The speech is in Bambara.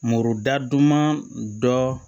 Muru da duman dɔ